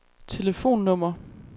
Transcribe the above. telefonnummer